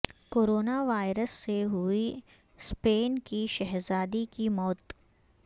corona virus سے ہوئی Spain کی شہزادی کی موت